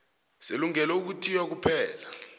selungelo lokuthiya kuphela